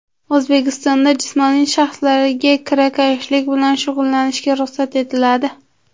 O‘zbekistonda jismoniy shaxslarga kirakashlik bilan shug‘ullanishga ruxsat etiladi.